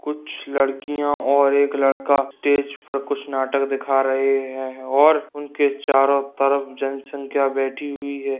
कुछ लड़कियाँ और एक लड़का स्टेज पर कुछ नाटक दिख रहे है और चारों तरफ जनसंख्या की बैठी हुई है।